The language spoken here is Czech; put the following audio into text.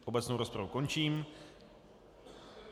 Obecnou rozpravu končím.